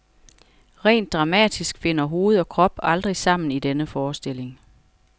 Rent dramatisk finder hoved og krop aldrig sammen i denne forestilling.